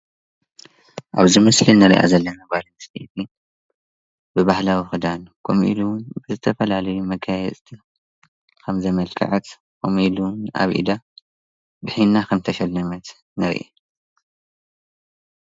ኣብዚ ምስሊ ንሪኣ ዘለና ጓል ኣነስተይቲ ብባህላዊ ክዳን ከምኡ ኢሉውን ብዝተፈላለየ መጋየፅቲ ከም ዘመልከዐት ከምኡ ኢሉ እውን ኣብ ኢዳ ብሒና ከምዝተሸለመት ንርኢ፡፡